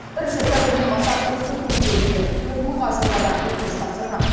бірінші сәуірден бастап осы күнге дейін төрт мыңға жуық адам өтініш тапсырған